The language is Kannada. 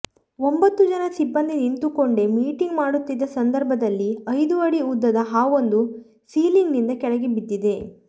ಒಂಬತ್ತು ಜನ ಸಿಬ್ಬಂದಿ ನಿಂತುಕೊಂಡೇ ಮೀಟಿಂಗ್ ಮಾಡುತ್ತಿದ್ದ ಸಂದರ್ಭದಲ್ಲಿ ಐದು ಅಡಿ ಉದ್ದದ ಹಾವೊಂದು ಸೀಲಿಂಗ್ ನಿಂದ ಕೆಳಗೆ ಬಿದ್ದಿದೆ